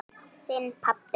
Þinn, pabbi.